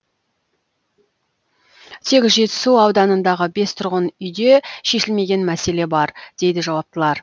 тек жетісу ауданындағы бес тұрғын үйде шешілмеген мәселе бар дейді жауаптылар